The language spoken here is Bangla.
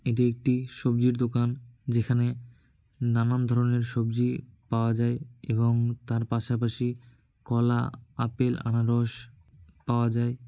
এটি একটি সবজির দোকান যেখানে নানান ধরনের সবজি পাওয়া যায় এবং তার পাশাপাশি কলা আপেল আনারস পাওয়া যায়।